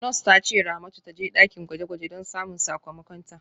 Nurse ta ce Ramatu ta je dakin gwaje-gwaje don samun sakamakonta.